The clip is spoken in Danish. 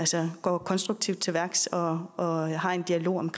så går konstruktivt til værks og og har en dialog om